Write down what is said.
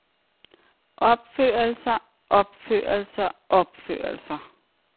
opførelser opførelser opførelser